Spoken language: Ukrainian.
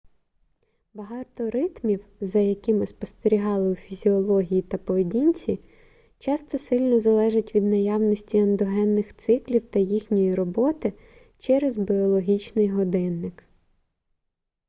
багато ритмів за якими спостерігали у фізіології та поведінці часто сильно залежать від наявності ендогенних циклів та їхньої роботи через біологічний годинник